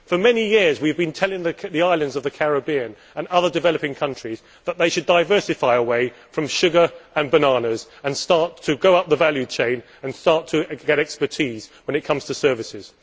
For many years, we have been telling the islands of the Caribbean and other developing countries that they should diversify away from sugar and bananas, start to go up the value chain, and start to get expertise when it comes to services.